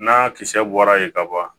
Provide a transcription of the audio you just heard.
N'a kisɛ bɔra yen ka ban